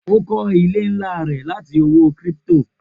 O kọ ile nla rẹ lati owo crypto